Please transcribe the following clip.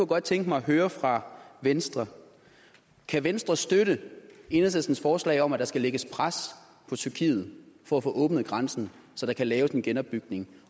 godt tænke mig at høre fra venstre kan venstre støtte enhedslistens forslag om at der skal lægges pres på tyrkiet for at få åbnet grænsen så der kan laves en genopbygning